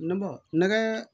Ne bɔ nɛgɛ